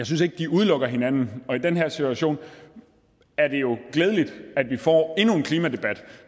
synes de udelukker hinanden og i den her situation er det jo glædeligt at vi får endnu en klimadebat